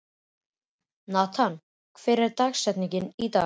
Nathan, hver er dagsetningin í dag?